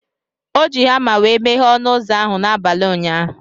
O ji hama wee meghe ọnụ ụzọ ahụ n'abalị ụnyaahụ.